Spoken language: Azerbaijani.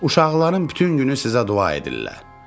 Uşaqların bütün günü sizə dua edirlər.